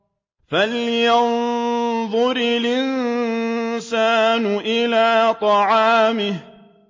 فَلْيَنظُرِ الْإِنسَانُ إِلَىٰ طَعَامِهِ